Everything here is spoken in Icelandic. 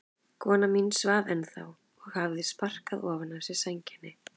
Kona mín svaf ennþá og hafði sparkað ofan af sér sænginni.